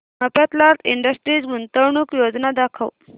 Mafatlal industries गुंतवणूक योजना दाखव